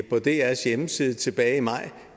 på drs hjemmeside tilbage i maj